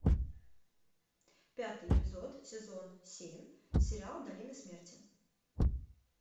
пятый эпизод сезон семь сериал долина смерти